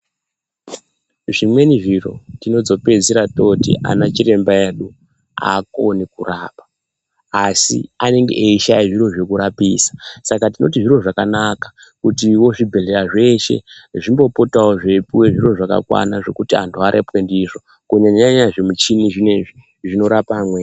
Zvimweni zviro tinozopedzisira toti vana chiremba edu haakoni kurapa, asi anenge eishaya zviro zvekurapisa. Saka tinoti zviro zvakanaka kutivo zvibhedhlera zveshe zvimbopotavo zveipuva zvirozvakakwana zvekuti antu apapwe ndizvo. Kunyanya-nyanya zvimichini zvinozvi zvinorapa amweni.